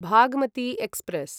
Bhagmati express